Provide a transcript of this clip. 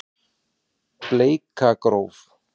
Bleikargróf